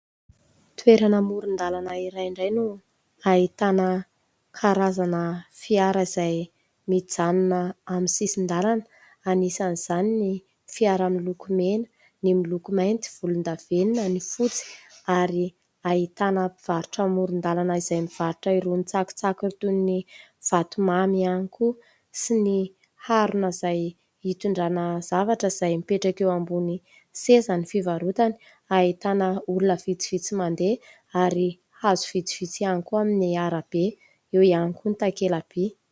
Toerana amoron-dalana iray indray no ahitana karazana fiara izay mijanona amin'ny sisin-dalana. Anisan'izany ny fiara : miloko mena, ny miloko mainty, volondavenona, ny fotsy, ary ahitana mpivarotra amoron-dalana izay mivarotra irony tsakitsaky, toy ny vatomamy ihany koa, sy ny harona izay hitondrana zavatra izay mipetraka eo ambony sezan'ny fivarotany. Ahitana olona vitsivitsy mandeha ary hazo vitsivitsy ihany koa amin'ny arabe eo ihany koa ny takela-by.